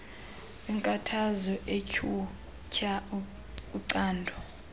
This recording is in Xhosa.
weenkathazo utyhutyha ucanda